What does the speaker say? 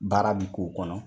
Baara bi k'o kɔnɔ